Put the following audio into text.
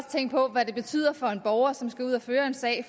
tænke på hvad det betyder for en borger som skal ud at føre en sag